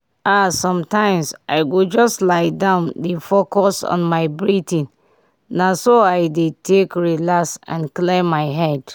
ah sometimes i go just lie down dey focus on my breathing—na so i dey take relax and clear my head.